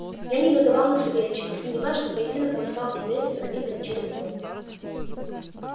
я негодовал на савельича не сомневаясь что поединок мой стал известен родителям через него